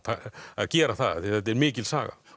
að gera það því þetta er mikil saga